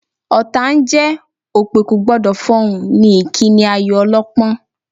Ọ̀tá ń jẹ́, òpè kò gbọ́dọ̀ fọhùn ni ìkíni ayò ọlọ́pọ́n